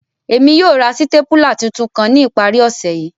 Emi yóò ra sitapula titun kan ni ìparí ọse yi.